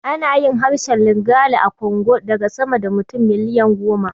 Ana yin harshen Lingala a Congo daga sama da mutum miliyan goma.